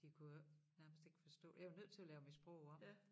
Det kunne jo ikke nærmest ikke forstå jeg var nødt til at lave mit sprog om